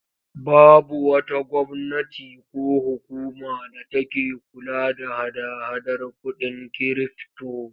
Babu wata gwamnati ko hukuma da take kula da hada-hadar kuɗin kirifto.